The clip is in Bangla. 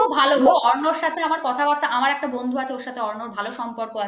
খুব ভালো গো অর্ণবের সাথে আমার কথাবার্তা আমার একটা বন্ধু আছে ওর সাথে অর্ণবের ভালো সম্পর্ক আছে